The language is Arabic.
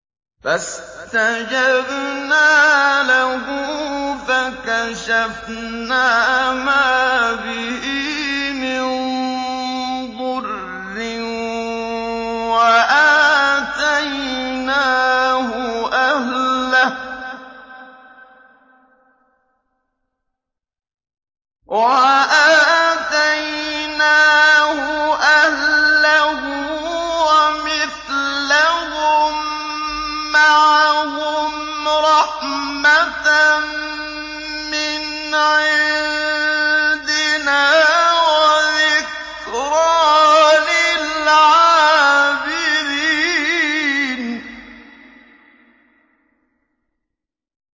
فَاسْتَجَبْنَا لَهُ فَكَشَفْنَا مَا بِهِ مِن ضُرٍّ ۖ وَآتَيْنَاهُ أَهْلَهُ وَمِثْلَهُم مَّعَهُمْ رَحْمَةً مِّنْ عِندِنَا وَذِكْرَىٰ لِلْعَابِدِينَ